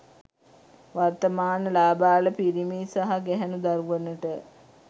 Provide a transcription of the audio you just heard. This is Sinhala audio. වර්තමාන ළාබාල පිරිමි සහ ගැහැනු දරුවනට